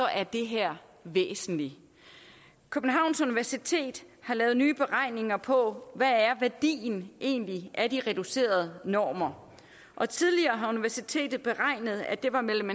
er det her væsentligt københavns universitet har lavet nye beregninger på hvad værdien egentlig er af de reducerede normer og tidligere har universitetet beregnet at det var mellem